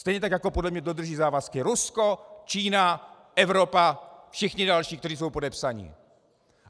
Stejně tak jako podle mne dodrží závazky Rusko, Čína, Evropa, všichni další, kteří jsou podepsaní.